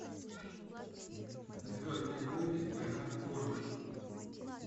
звездные войны война клонов